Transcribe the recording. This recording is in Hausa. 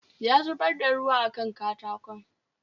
Ya zubar da ruwa a Kan katakon